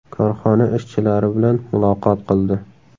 Korxona ishchilari bilan muloqot qildi.